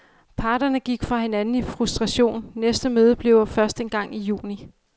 Parterne gik fra hinanden i frustration, næste møde bliver først engang i juni.